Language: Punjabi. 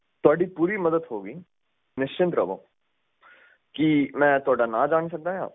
ਤੁਹਾਡੀ ਪੂਰੀ ਮੱਦਦ ਹੋਊਗੀ ਨਿਸ਼ਚਿੰਤ ਰਵੋ ਕੀ ਮੈਂ ਤੁਹਾਡਾ ਨਾਮ ਜਾਣ ਸਕਦਾ